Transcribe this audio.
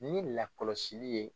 Ni lakɔlɔsi ye.